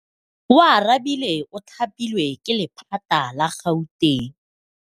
Oarabile o thapilwe ke lephata la Gauteng.